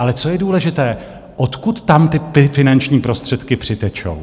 Ale co je důležité, odkud tam ty finanční prostředky přitečou?